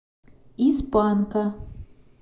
из панка